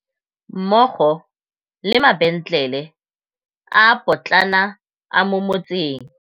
mmogo le mabentlele a a potlana a mo motseng.